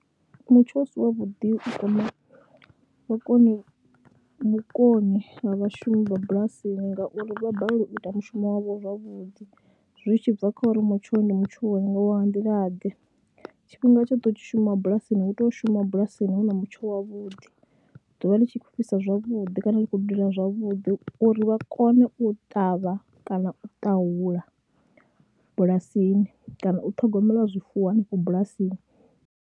Mutsho u si wavhuḓi u kwama vhukoni vhukoni ha vhashumi vha bulasini ngauri vha balelwa u ita mushumo wavho zwavhuḓi, zwi tshi bva kha uri mutsho ndi mutsho wanga wa nga nḓilaḓe, tshifhinga tshoṱhe u tshi shuma bulasini hu tea u shuma bulasini hu na mutsho wavhuḓi, ḓuvha ḽi tshi khou fhisa zwavhuḓi kana ḽi khou dudela zwavhuḓi uri vha kone u ṱavha kana u ṱahula bulasini kana u ṱhogomela zwifuwo henefho bulasini.